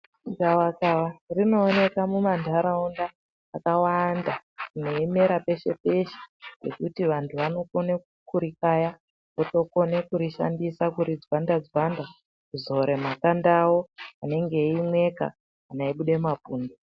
Gavakava rinoonekae mumantaraunda akawanda reimera peshe-peshe pekuti vantu vanokone kurikaya. Votokone kurishandisa kuridzwanda-dzwanda kuzore makanda avo anenge eimweka kana eibude mapundu.